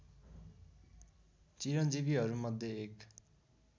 चिरन्जीवीहरू मध्ये एक